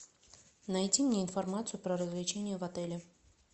найди мне информацию про развлечения в отеле